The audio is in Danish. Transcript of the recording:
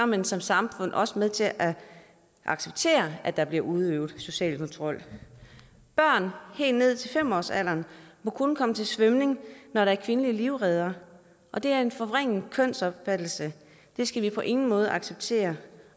man som samfund også med til at acceptere at der bliver udøvet social kontrol børn helt ned til fem årsalderen må kun komme til svømning når der er kvindelige livreddere og det er en forvrænget kønsopfattelse det skal vi på ingen måde acceptere